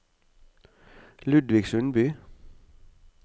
Ludvig Sundby